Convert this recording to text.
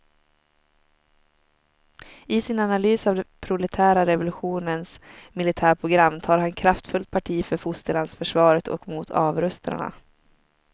I sin analys av den proletära revolutionens militärprogram tar han kraftfullt parti för fosterlandsförsvaret och mot avrustarna.